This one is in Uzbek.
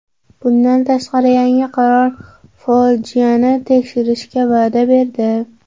Bundan tashqari, yangi qirol fojiani tekshirishga va’da berdi.